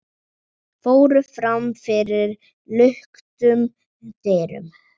fóru fram fyrir luktum dyrum.